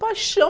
paixão.